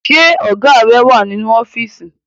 Ṣé Ọ̀gá rẹ wà nínú ọ́fíìsì